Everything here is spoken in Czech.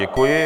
Děkuji.